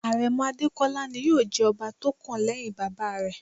Àrẹ̀mọ Adékọ́lá ni yóò jẹ ọba tó kàn lẹ́hìn bàbá rẹ̀.